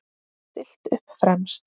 Stillt upp fremst.